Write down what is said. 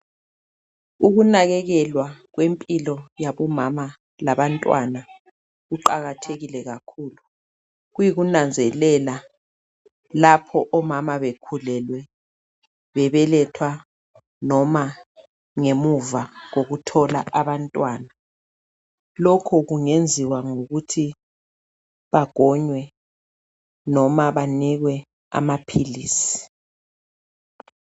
Ukunakekelwa kwempilo yabomama labantwana kuqakathekile kakhulu , kuyikunanzelela lapho omama bekhulelwe , bebeletha noma ngemuva kokuthola abantwana , lokhu kungenziwa ngokuthi bagonywe noma banikwe amaphilisi